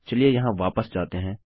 चलिए यहाँ वापस जाते हैं